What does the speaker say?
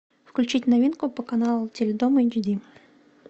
включить новинку по каналу теледом эйчди